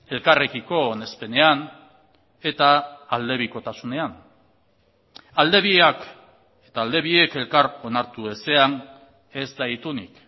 elkarrekiko onespenean eta aldebikotasunean alde biak eta alde biek elkar onartu ezean ez da itunik